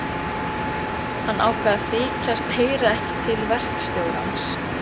Hann ákvað að þykjast ekki heyra til verkstjórans.